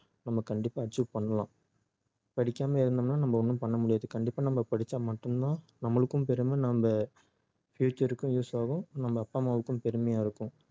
நம்ம கண்டிப்பா achieve பண்ணலாம் படிக்காம இருந்தோம்னா நம்ம ஒண்ணும் பண்ண முடியாது கண்டிப்பா நம்ம பிடிச்சா மட்டும் தான் நம்மளுக்கும் பெருமை நம்ம future க்கும் use ஆகும் நம்ம அப்பா அம்மாவுக்கும் பெருமையா இருக்கும்